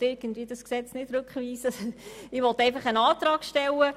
Ich will dieses Gesetz nicht zurückweisen, sondern einfach einen Antrag stellen.